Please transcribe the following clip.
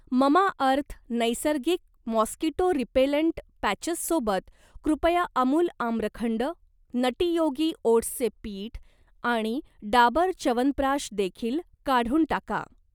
Mamaearth नैसर्गिक mosquito repellent पॅचेससोबत, कृपया अमूल आम्रखंड, नटी योगी ओट्सचे पीठ आणि डाबर च्यवनप्रकाश देखील काढून टाका.